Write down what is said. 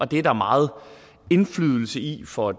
det er der meget indflydelse i for